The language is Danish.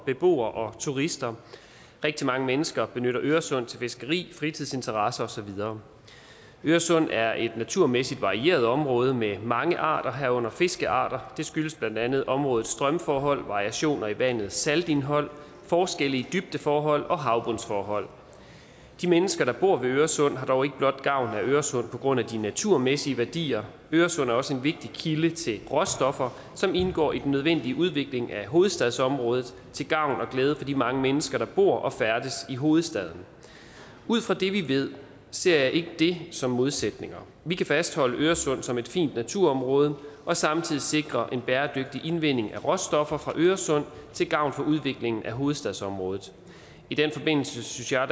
beboere og turister rigtig mange mennesker benytter øresund til fiskeri fritidsinteresser og så videre øresund er et naturmæssigt varieret område med mange arter herunder fiskearter det skyldes blandt andet områdets strømforhold variationer i vandets saltindhold forskelle i dybdeforhold og havbundsforhold de mennesker der bor ved øresund har dog ikke blot gavn af øresund på grund af de naturmæssige værdier øresund er også en vigtig kilde til råstoffer som indgår i den nødvendige udvikling af hovedstadsområdet til gavn og glæde for de mange mennesker der bor og færdes i hovedstaden ud fra det vi ved ser jeg ikke det som modsætninger vi kan fastholde øresund som et fint naturområde og samtidig sikre en bæredygtig indvinding af råstoffer fra øresund til gavn for udviklingen af hovedstadsområdet i den forbindelse synes jeg